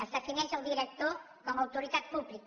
es defineix el director com autoritat pública